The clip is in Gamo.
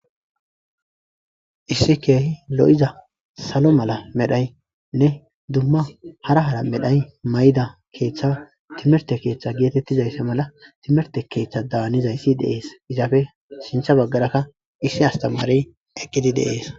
Issi kehi lo'za sallo mala medhone dumma hara hara medhdho mayida keththa timirte keththa gettetizayssa mala timirte keththa danizayssi de'es izappe sinththa bageraka issi astamarey eqqidi de'esi.